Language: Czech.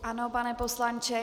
Ano, pane poslanče.